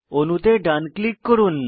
অণুতে ডান ক্লিক করুন